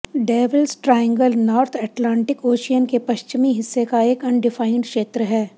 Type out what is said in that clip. devils Triangle North Atlantic Ocean के पश्चिमी हिस्से का एक अनडिफाइंड क्षेत्र है